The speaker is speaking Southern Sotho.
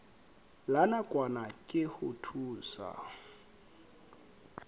la nakwana ke ho thusa